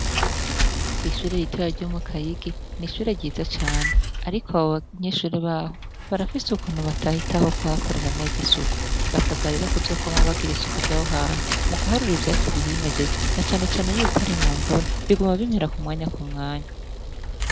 Kwishure ritoya ryo mu kayigi n’ishure ryiza cane ariko abanyeshure baho barafise ukuntu batahitaho kuhakorera neza isuku basabwa rero kuzokwama bakora neza isuku ryaho hantu mukuha ivyatsi vyose bihimejeje na cane cane yuko ari mu mvura biguma bikura kumwanya kumwanya.